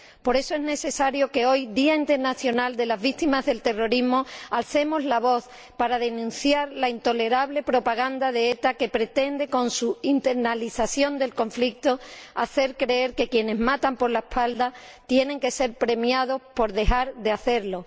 Por eso es necesario que hoy, Día Europeo de las Víctimas del Terrorismo, alcemos la voz para denunciar la intolerable propaganda de ETA, que, con su internacionalización del conflicto, pretende hacer creer que quienes matan por la espalda tienen que ser premiados por dejar de hacerlo.